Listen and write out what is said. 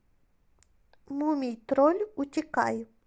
мумий тролль утекай